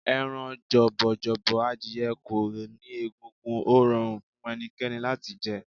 Ẹran jọ̀bọ̀jọ̀bọ̀ adìye kò ní egungun, ó rọrùn fún ẹnikẹ́ni láti jẹ.